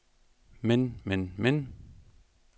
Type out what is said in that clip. men men men